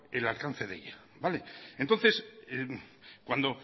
el alcance de ella vale entonces cuando